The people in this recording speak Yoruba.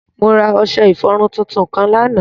Mo ra ọṣẹ-ifọrun tuntun kan lánà.